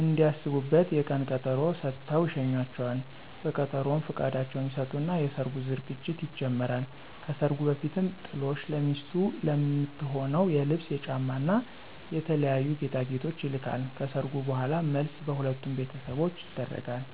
እንዲያስቡበት የቀን ቀጠሮ ሰጥተው ይሸኟቸዋል። በቀጠሮውም ፍቃዳቸውን ይሰጡና የሰርጉ ዝግጅት ይጀመራል። ከሰርጉ በፊትም ጥሎሽ ለሚስቱ ለምትሆነው የልብስ፣ የጫማ እና የተለያዩ ጌጣጌጦች ይልካል። ከሰርጉ በኋላም መልስ በሁለቱም ቤተሰቦች ይደረጋል።